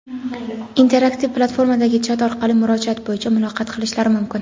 interaktiv platformadagi chat orqali murojaat bo‘yicha muloqot qilishlari mumkin.